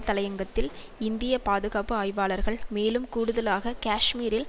தலையங்கத்தில் இந்திய பாதுகாப்பு ஆய்வாளர்கள் மேலும் கூடுதலாக கேஷ்மீரில்